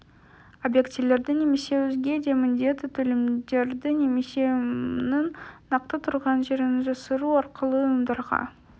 объектілерді немесе өзге де міндетті төлемдерді немесе ұйымның нақты тұрған жерін жасыру арқылы ұйымдарға